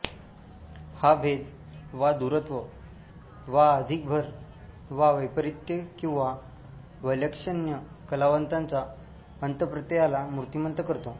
हा भेद वा दूरत्व वा अधिक भर वा वैपरीत्य किंवा वैलक्षण्य कलावंताच्या अंतःप्रत्ययाला मूर्तिमंत करतो